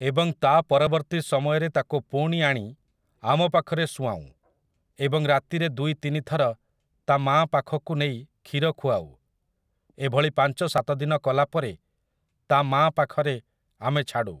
ଏବଂ ତା' ପରବର୍ତ୍ତୀ ସମୟରେ ତାକୁ ପୁଣି ଆଣି ଆମ ପାଖରେ ସୁଆଉଁ ଏବଂ ରାତିରେ ଦୁଇ ତିନି ଥର ତା ମାଁ ପାଖକୁ ନେଇ କ୍ଷୀର ଖୁଆଉ । ଏଭଳି ପାଞ୍ଚ ସାତ ଦିନ କଲା ପରେ ତା ମାଁ ପାଖରେ ଆମେ ଛାଡ଼ୁ ।